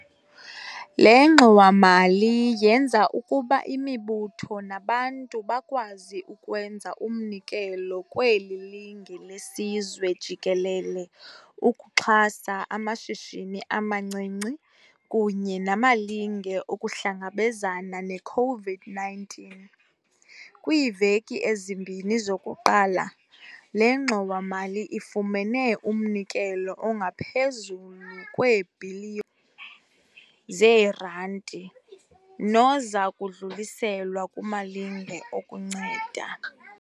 Le ngxowa-mali yenza ukuba imibutho nabantu bakwazi ukwenza umnikelo kweli linge lesizwe jikelele ukuxhasa amashishini amancinci kunye namalinge okuhlangabezana ne-COVID-19. Kwiiveki ezimbini zokuqala, le ngxowa-mali ifumene umnikelo ongaphezulu kwee-Bhiliyo zeeRandi, noza kudluliselwa kumalinge okunceda.